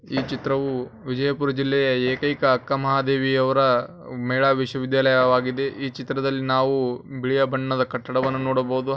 ಈ ಚಿತ್ರವು ವಿಜಯ್ಪುರದ ಏಕೈಕ ಅಕ್ಕಮಹಾದೇವಿ ಅವರ ಮಹಿಳಾ ವಿಶ್ವವಿದ್ಯಾಲಯ ಆಗಿದೆ ಈ ಚಿತ್ರ ದಲ್ಲಿ ನಾವು ಬಿಳಿಯ ಬಣ್ಣದ ಕಟ್ಟಡವನ್ನು ನೋಡಬಹುದು.